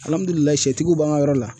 sɛtigiw b'an ka yɔrɔ la.